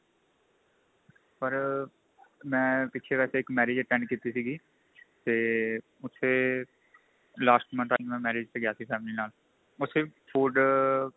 ਪਰ ਪਿਛੇ ਵੈਸੇ ਇੱਕ marriage attend ਕੀਤੀ ਸੀਗੀ ਤੇ ਉੱਥੇ last month ਮੈਂ marriage ਤੇ ਗਿਆ ਸੀ family ਨਾਲ ਉੱਥੇ food